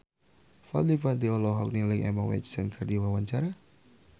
Fadly Padi olohok ningali Emma Watson keur diwawancara